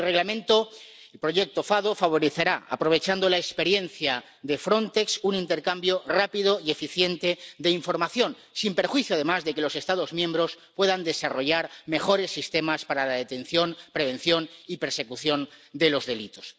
El Reglamento, el sistema FADO, favorecerá, aprovechando la experiencia de Frontex, un intercambio rápido y eficiente de información, sin perjuicio además de que los Estados miembros puedan desarrollar mejores sistemas para la detención, prevención y persecución de los delitos.